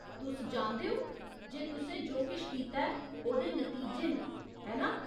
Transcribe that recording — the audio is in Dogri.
तुस जानदे ओ जे तुसें जो किश कीता ऐ ओह्‌दे नतीजे न, है ना ?